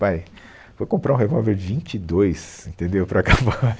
Pai, foi comprar um revólver vinte e dois entendeu, para acabar